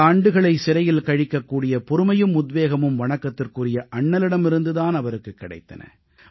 பல ஆண்டுகளை சிறையில் கழிக்கக்கூடிய பொறுமையும் உத்வேகமும் வணக்கத்துக்குரிய அண்ணலிடமிருந்து தான் அவருக்குக் கிடைத்தன